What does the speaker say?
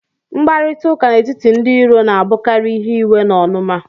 Mkparịta ụka n'etiti ndị iro na-abụkarị ihe iwe na onuma